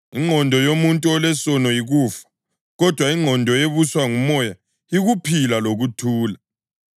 ingqondo yimvelo yesono iyamzonda uNkulunkulu. Kayiwuvumi umthetho kaNkulunkulu, njalo ayingeke yenze njalo.